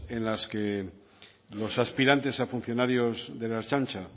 en las que los aspirantes a funcionarios de la ertzaintza